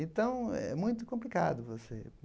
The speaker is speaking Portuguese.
Então, é muito complicado você.